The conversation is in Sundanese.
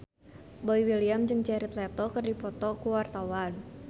Boy William jeung Jared Leto keur dipoto ku wartawan